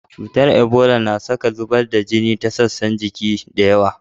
Cutar Ibola na saka zubar da jini ta sassan jiki da yawa.